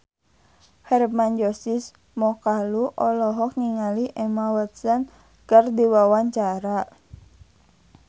Hermann Josis Mokalu olohok ningali Emma Watson keur diwawancara